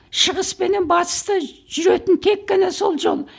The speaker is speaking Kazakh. шығыс пенен батысты жүретін тек қана сол жол